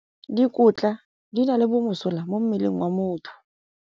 Dikotla di na le bomosola mo mmeleng wa motho.